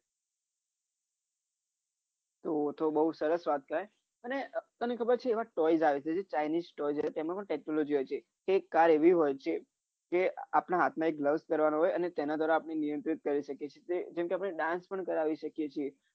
તો બઊજ સરસ વાત છે અને તને ખબર એવા toys આવે છે toys તેમાં પણ tecnology હોય છે એક car એવી હોય છે કે આપણા હાથમાં કરવાની હોય અને તેનો જરા આપણે નિયંત્રિત કરી શકીએ છીએ જેને આપણે dance પન કરાવી શકીએ છીએ